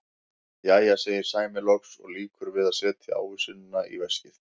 Jæja, segir Sæmi loks og lýkur við að setja ávísunina í veskið.